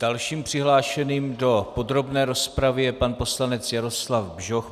Dalším přihlášeným do podrobné rozpravy je pan poslanec Jaroslav Bžoch.